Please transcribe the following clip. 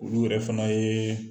Olu yɛrɛ fana ye